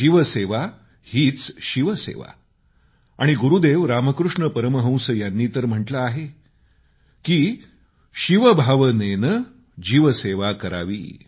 जीवसेवा हीच शिवसेवा आणि गुरूदेव रामकृष्ण परमहंस यांनी तर म्हटलं आहे की शिवभावनेने जीवसेवा करावी